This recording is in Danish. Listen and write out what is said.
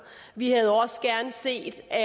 vi havde også gerne set at